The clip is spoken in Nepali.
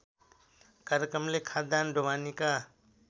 कार्यक्रमले खाद्यान्न ढुवानीका